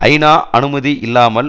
ஐநா அனுமதி இல்லாமல்